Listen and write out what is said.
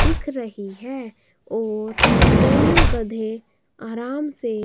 दिख रही है और दोनों गधे आराम से--